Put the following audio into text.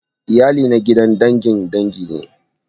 Iyali na gidan dangin dangi ne